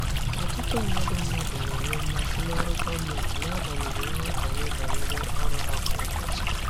Ọtụtụ mmadụ mmadụ na-enwe mmasị n'ọrụ gọọmentị n'agbanyeghị nghọtahie banyere ọrụ ha kwa ụbọchị.